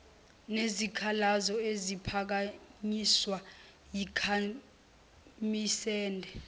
nezikhalazo eziphakanyiswa yikhasimende